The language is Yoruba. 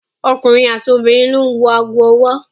Ọkùnrin àti obìnrin ló ń wọ ago ọwọ́.